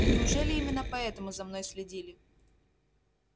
но неужели именно поэтому за мной следили